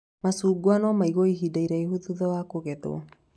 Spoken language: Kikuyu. Macungwa no maigwo ihinda iraihu thutha wa kũgethwo